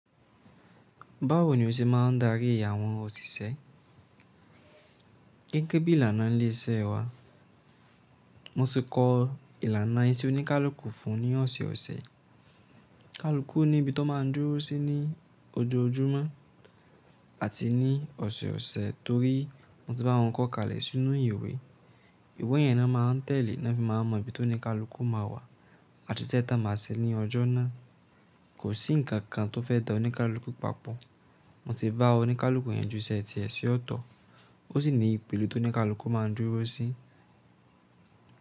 Báwo ni o ṣe máa ń darí àwọn òṣìṣẹ́? Gẹ́gẹ́ bí ìlànà ilé iṣẹ́ wa. Mo ti kọ ìlànà ìṣe oníkálukú fún ní ọ̀sẹ̀ẹ̀sẹ̀. Kálúkú ní ibi tó máa ń dúró sí ní ojoojúmọ́ àti ní ọ̀sẹ̀ẹ̀sẹ̀ torí mo ti bá àwọn kọ kalẹ̀ sínú ìwé. Ìwé yẹn ni wọ́n máa ń tẹ̀lé ní wọ́n fi máa ń mọ ibi tó ní ká luku máa wà àti iṣẹ́ tá a máa ṣẹ ní ọjọ́ náà. Kò sí ǹkan kan tó fẹ́ dá oníkálukú papọ̀. Mo ti bá oníkálukú yanjú iṣẹ́ tiẹ̀ sí ọ̀tọ̀. Ó sì ní ipilẹ̀ tó ní ká luku máa ń dúró sí.